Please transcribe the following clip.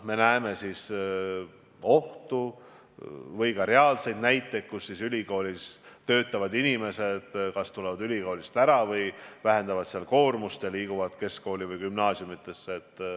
Seejuures on oht või ka reaalseid näiteid, kus ülikoolis töötavad inimesed kas siis tulevad ülikoolist ära või vähendavad seal koormust ja liiguvad keskkoolidesse, gümnaasiumidesse.